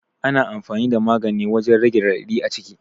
Ana amfani da magani wajan rage raɗaɗi a jiki